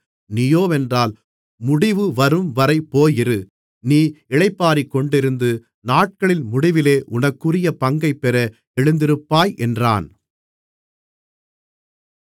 நீயோவென்றால் முடிவுவரும்வரை போயிரு நீ இளைப்பாறிக்கொண்டிருந்து நாட்களின் முடிவிலே உனக்குரிய பங்கைப்பெற எழுந்திருப்பாய் என்றான்